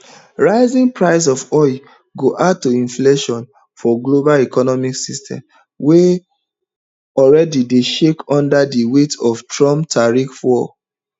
rising price of oil go add to inflation for global economic system wey already dey shake under di weight of trump tariff war